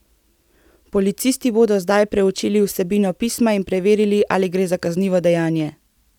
Policisti bodo zdaj preučili vsebino pisma in preverili, ali gre za kaznivo dejanje.